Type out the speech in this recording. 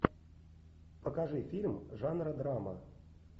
покажи фильм жанра драма